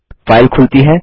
file खुलती है